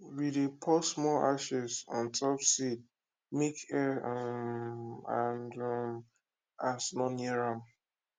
we dey pour small ashes on top seed make air um and um ant no near am